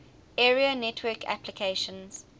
area network applications